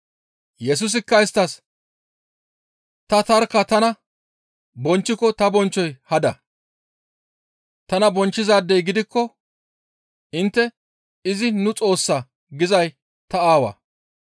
Yesusikka isttas, «Ta tarkka tana bonchchiko ta bonchchoy hada. Tana bonchchizaadey gidikko intte, ‹Izi nu Xoossa› gizayssi ta Aawaa.